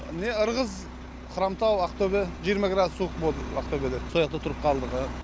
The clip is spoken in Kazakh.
не ырғыз хромтау ақтөбе жиырма градус суық болды ақтөбеде сол жақта тұрып қалдық